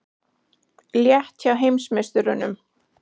Létt hjá heimsmeisturunum